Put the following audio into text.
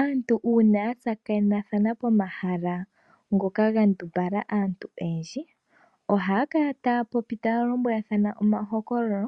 Aantu uuna ya tsakanena pomahala ngoka ga ndumbala aantu oyendji oha ya kala taya popi taya lombwelathana omahokololo